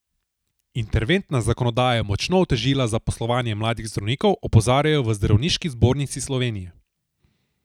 Interventna zakonodaja je močno otežila zaposlovanje mladih zdravnikov, opozarjajo v Zdravniški zbornici Slovenije.